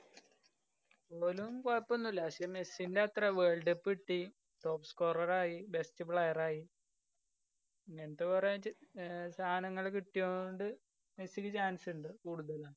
ഓലും കൊയപ്പോന്നുല്ലാ പക്ഷെ മെസ്സിന്റത്ര world cup കിട്ടി, top scorer ആയി, best player ആയി. ങ്ങനത്തെ കൊറ സാനങ്ങള് കിട്ട്യോ~ണ്ട് മെസ്സിക്ക് chance ഇണ്ട്. കൂടുതലും